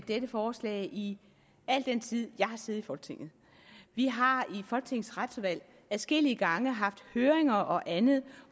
dette forslag i al den tid jeg har siddet i folketinget vi har i folketingets retsudvalg adskillige gange haft høringer og andet